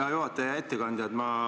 Hea juhataja!